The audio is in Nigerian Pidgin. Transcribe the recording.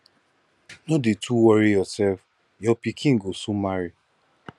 no dey too worry yourself your pikin go soon marry